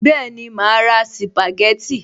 Bẹ́ẹ̀ni, màá ra sìpàgẹ́tì